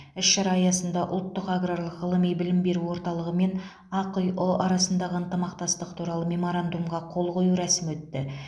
іс шара аясында ұлттық аграрлық ғылыми білім беру орталығы мен ақиұ арасындағы ынтымақтастық туралы меморандумға қол қою рәсімі өтті